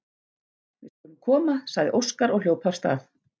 Við skulum koma, sagði Óskar og hljóp af stað.